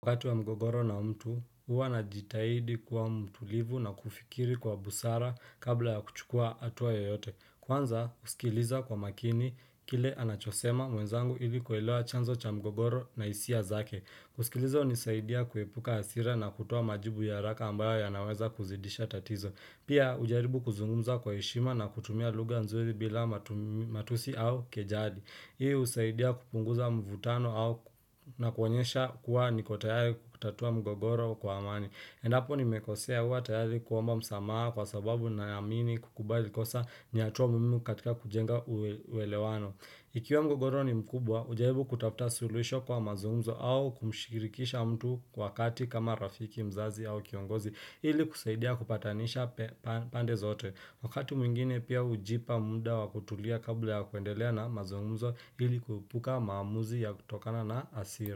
Kwa wakati wa mgogoro na mtu, huwa na jitahidi kwa mtulivu na kufikiri kwa busara kabla ya kuchukua atuwa yoyote. Kwanza, usikiliza kwa makini kile anachosema mwenzangu ili kuelewa chanzo cha mgogoro na isia zake. Kusikiliza hunisaidia kuepuka hasira na kutoa majibu ya haraka ambayo ya naweza kuzidisha tatizo. Pia, hujaribu kuzungumza kwa heshima na kutumia luga nzuli bila matusi au kejali. Hii husaidia kupunguza mvutano na kuwonyesha kuwa nikotayari kutatua mgogoro kwa amani. Endapo nimekosea huwa tayari kuomba msamaa kwa sababu na yamini kukubali kosa ni hatua muwimu katika kujenga uwelewano. Ikiwa mgogoro ni mkubwa, ujaribu kutafta suluisho kwa mazumzo au kumshirikisha mtu kwa kati kama rafiki mzazi au kiongozi. Hili kuseidia kupatanisha pande zote. Wakati mwingine pia hujipa muda wakutulia kabla ya kuendelea na mazumuzo hili kuepuka maamuzi ya kutokana na asira.